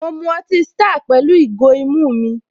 Mọ mu ọtí star pẹ̀lú ìgò ìmu mi